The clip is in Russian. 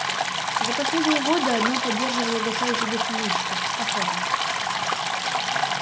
за последние годы одно поддерживало угасающий дух помещиков охота